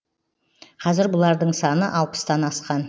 қазір бұлардың саны алпыстан асқан